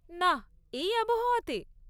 নাহ, এই আবহাওয়াতে?